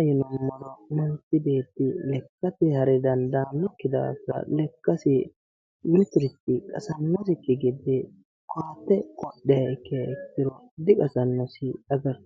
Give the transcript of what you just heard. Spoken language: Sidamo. ayewoytenno manichi beeti lekkate hare danidaannomi daafira lekkasi mitirichi qasannosikki gede koate qodhiha ikkiha ikkiro diqasannosi